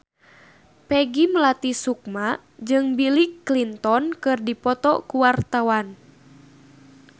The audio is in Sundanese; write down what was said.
Peggy Melati Sukma jeung Bill Clinton keur dipoto ku wartawan